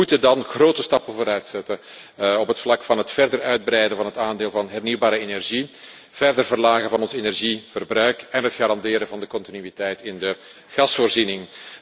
Wij moeten dan grote stappen vooruit zetten op het vlak van het verder uitbreiden van het aandeel van hernieuwbare energie, het verder verlagen van ons energieverbruik en het garanderen van de continuïteit van de gasvoorziening.